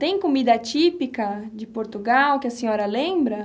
Tem comida típica de Portugal que a senhora lembra?